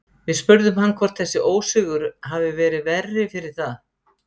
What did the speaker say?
Við spurðum hann hvort þessi ósigur hafi verið verri fyrir það?